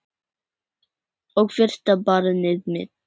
Og fyrsta barnið mitt.